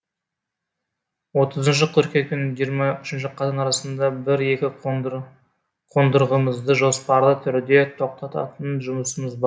отызыншы қыркүйек пен жиырма үшінші қазан арасында бір екі қондырғымызды жоспарлы түрде тоқтататын жұмысымыз бар